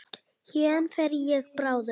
Héðan fer ég bráðum.